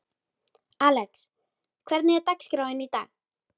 Alex, hvernig er dagskráin í dag?